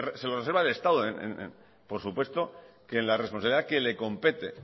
se lo reserva el estado por supuesto que en la responsabilidad que le compete